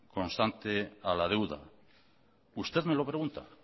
constante a la deuda usted me lo pregunta